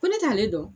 Ko ne t'ale dɔn